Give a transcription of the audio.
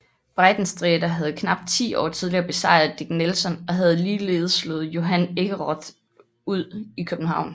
Breitensträter havde knap ti år tidligere besejret Dick Nelson og havde ligeledes slået Johan Ekeroth ud i København